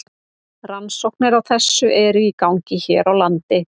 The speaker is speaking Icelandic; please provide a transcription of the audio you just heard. Rannsóknir á þessu eru í gangi hér á landi.